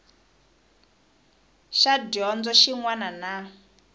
xa dyondzo xin wana na